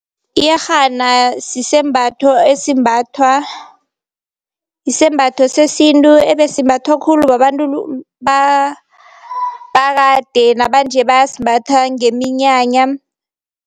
Iyerhana sisembatho esimbathwa, isembatho sesintu ebesimbathwa khulu babantu bakade nabanje bayasimbatha ngeminyanya.